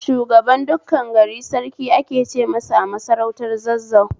Shugaban dukkan gari Sarki ake ce masa a masarautar Zazzau